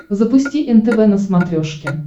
запусти нтв на смотрешке